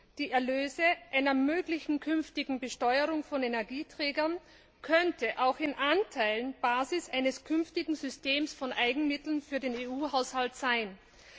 dass die Erlöse einer möglichen künftigen Besteuerung von Energieträgern auch in Anteilen Basis eines künftigen Systems von Eigenmitteln für den EU Haushalt sein könnten.